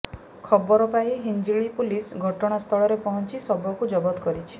ଖବର ପାଇ ହିଂଜିଳି ପୁଲିସ ଘଟଣା ସ୍ଥଳରେ ପଂହଚି ଶବକୁ ଜବତ କରିଛି